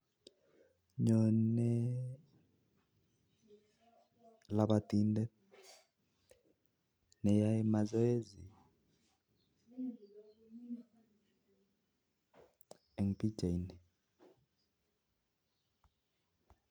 Nyonei labitindet neyae mazoezi eng pichaini